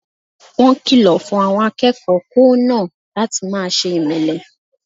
Wọ́n kìlọ̀ fun àwọn akẹ́kọ̀ọ́ kòó náà láti máse ìmẹ́lẹ́